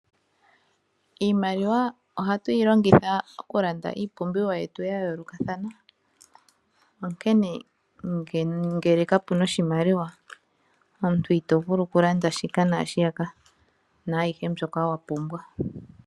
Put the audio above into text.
Iimaliwa ohatu yi longitha okulanda iipumbiwa yetu ya yoolokathana, onkene ngele ka pu na oshimaliwa omuntu ito vulu okulanda shika naashiyaka naayihe mbyoka wa pumbwa.